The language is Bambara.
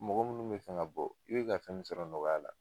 Mɔgɔ munnu mɛ fɛn ka bɔ, i bi ka fɛn min sɔrɔ nɔgɔya la